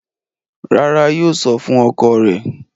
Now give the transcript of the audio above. Rárá, yóò sọ fún ọkọ rẹ̀.